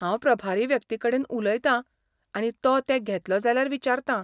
हांव प्रभारी व्यक्तिकडेन उलयतां आनी तो ते घेतलो जाल्यार विचारतां.